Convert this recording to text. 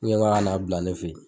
Ne ko k'a ka na bila ne fe yen.